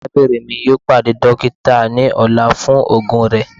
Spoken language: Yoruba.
Arabinrin mi yoo pade dokita ni ọla fun oogun rẹ